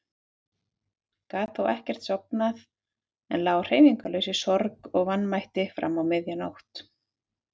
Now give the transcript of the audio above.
Gat þó ekkert sofnað en lá hreyfingarlaus í sorg og vanmætti fram á miðja nótt.